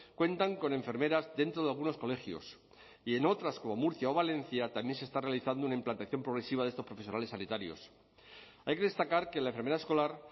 cuentan con enfermeras dentro de algunos colegios y en otras como murcia o valencia también se está realizando una implantación progresiva de estos profesionales sanitarios hay que destacar que la enfermera escolar